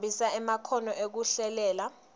khombisa emakhono ekuhlelela